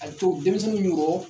A co denmisɛnnu b'u rɔ